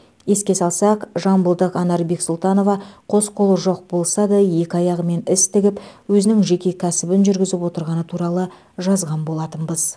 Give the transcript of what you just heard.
еске салсақ жамбылдық анар бексұлтанова қос қолы жоқ болса да екі аяғымен іс тігіп өзінің жеке кәсібін жүргізіп отырғаны туралы жазған болатынбыз